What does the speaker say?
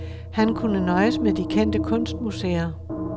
Han kunne nøjes med de kendte kunstmuseer.